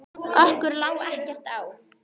Okkur lá ekkert á.